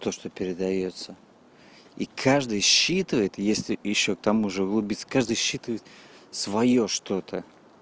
то что передаётся и каждый считывает если ещё к тому же углубиться каждый считывает своё что-то